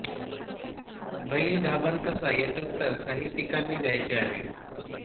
बैल गाभण कसा याचे उत्तर साहित्यीकांनी दयायचे आहे